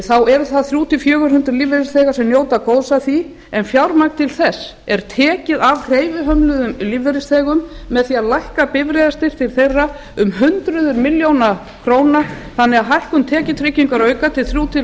þá eru það þrjú hundruð til fjögur hundruð lífeyrisþegar sem njóta góðs af því en fjármagn til þess er tekið af hreyfihömluðum lífeyrisþegum með því að lækka bifreiðastyrk til þeirra um hundruð milljónir króna þannig að hækkun tekjutryggingarauka til þrjú hundruð til